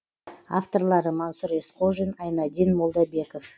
авторлары мансұр есқожин айнадин молдабеков